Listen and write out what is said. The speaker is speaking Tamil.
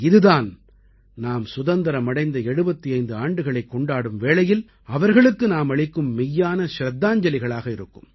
இதுதான் நாம் சுதந்திரம் அடைந்த 75 ஆண்டுகளைக் கொண்டாடும் வேளையில் அவர்களுக்கு நாம் அளிக்கும் மெய்யான நினைவஞ்சலிகளாக இருக்கும்